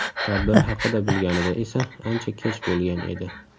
Tadbir haqida bilganida esa ancha kech bo‘lgan edi.